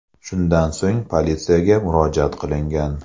Shundan so‘ng politsiyaga murojaat qilingan.